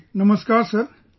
Ji Namaskar Sir